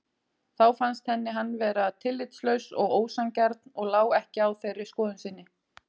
Þá fannst henni hann vera tillitslaus og ósanngjarn og lá ekki á þeirri skoðun sinni.